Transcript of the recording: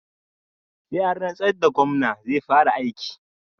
Sai an rantsar da Gomna zai fara aiki